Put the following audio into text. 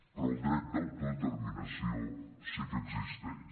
però el dret d’autodeterminació sí que existeix